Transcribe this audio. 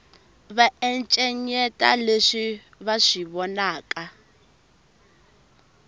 va encenyeta leswi va swi vonaka